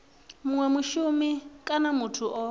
munwe mushumi kana muthu o